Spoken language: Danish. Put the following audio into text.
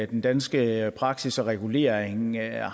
den danske praksis og regulering er